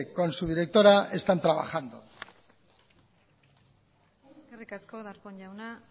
con su directora están trabajando eskerrik asko darpón jauna